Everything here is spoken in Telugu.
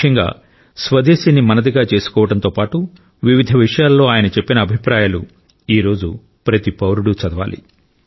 ముఖ్యంగా స్వదేశీని మనదిగా చేసుకోవడంతో పాటు వివిధ విషయాల్లో ఆయన చెప్పిన అభిప్రాయాలు ఈ రోజు ప్రతి పౌరుడు చదవాలి